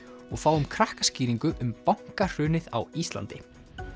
og fáum krakkaskýringu um bankahrunið á Íslandi